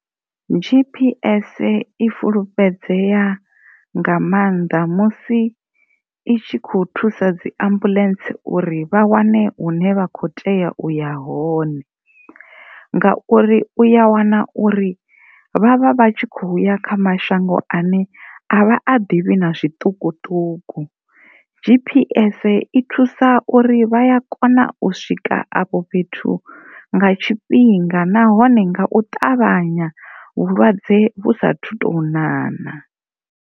G_P_S i fulufhedzea nga mannḓa musi i tshi kho thusa dzi ambuḽentse uri vha wane hune vha kho tea u ya hone, ngauri u ya wana uri vha vha vha tshi kho ya kha mashango ane a vha a ḓivhi na zwiṱukuṱuku. G_P_S i thusa uri vha a kona u swika afho fhethu nga tshifhinga nahone nga u ṱavhanya vhulwadze vhu sathu tou ṱavhanya.